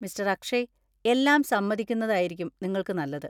Mister Akshay, എല്ലാം സമ്മതിക്കുന്നതായിരിക്കും നിങ്ങൾക്ക് നല്ലത്.